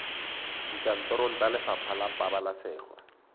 dikantorong tsa lefapha la pabalesego